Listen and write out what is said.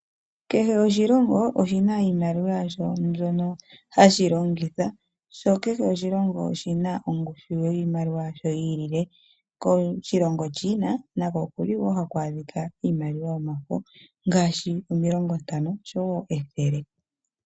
Kehe oshilongo oshina iimaliwa yasho mbyono hashi longitha, sho kehe oshilongo oshina ongushu yiimaliwa yasho yi ilile. Koshilongo China nako oku li wo haku adhika Iimaliwa yomafo ngaashi omilongo ntano, oshowo ethele.